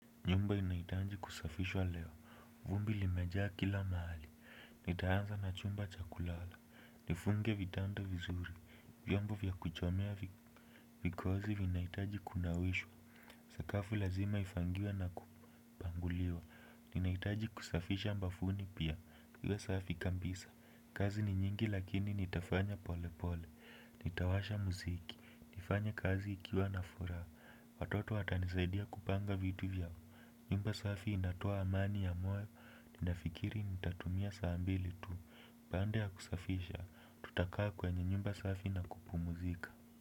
Nyumba inahitaji kusafishwa leo, vumbi limejaa kila mahali, nitaanza na chumba cha kulala, nifunge vitanda vizuri, vyombo vya kuchomea vikozi vinahitaji kunawishwa, sakafu lazima ifagiwe na kupanguliwa. Ninahitaji kusafisha bafuni pia liwe safi kabisa. Kazi ni nyingi lakini nitafanya pole pole. Nitawasha muziki. Nifanye kazi nikiwa na furaha. Watoto watanisaidia kupanga vitu vya nyumba safi inatoa amani ya moyo. Ninafikiri nitatumia saa mbili tu. Baada ya kusafisha tutakaa kwenye nyumba safi na kupumuzika.